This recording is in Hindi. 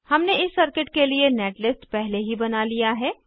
हमने इस सर्किट के लिए नेटलिस्ट पहले ही बना लिया है